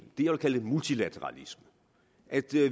vil kalde multilateralisme at